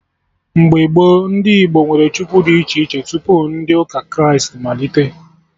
Mgbe gboo, ndị Igbo nwere Chukwu dị iche iche, tupu ndị ụka Kraịst malite